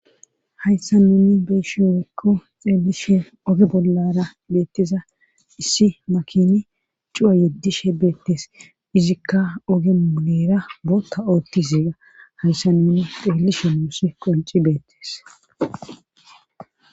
Hayssa nuni beyshshe woykko xeelishe oge bollara beetteza issi makini cuwa yedishshe beettees izikka oge miileera bootta ooggeza hayssa nuni xeelishin nuusi qonci beettes